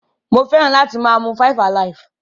Mo feran ati maa mu 5alive.